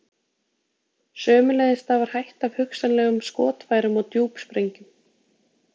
sömuleiðis stafar hætta af hugsanlegum skotfærum og djúpsprengjum